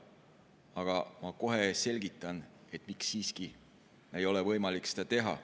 Aga ma kohe selgitan, miks siiski ei ole võimalik seda teha.